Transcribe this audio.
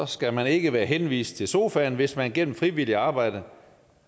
skal man ikke være henvist til sofaen hvis man gennem frivilligt arbejde